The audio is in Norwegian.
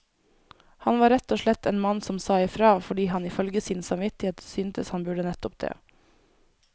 Han var rett og slett en mann som sa ifra, fordi han ifølge sin samvittighet syntes han burde nettopp det.